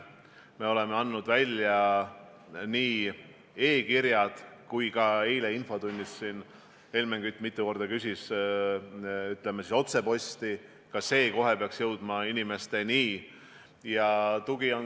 Me oleme saatnud välja e-kirjad ja ka otsepostituse abil, mille kohta eile infotunnis Helmen Kütt mitu korda küsis, peaks teave kohe inimesteni jõudma.